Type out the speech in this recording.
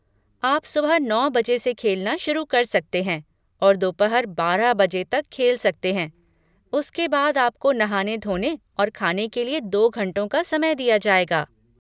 आप सुबह नौ बजे से खेलना शुरू कर सकते हैं और दोपहर बारह बजे तक खेल सकते हैं, उसके बाद आपको नहाने धोने और खाने के लिए दो घंटों का समय दिया जाएगा।